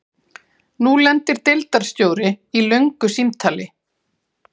Nú lendir deildarstjóri í löngu símtali.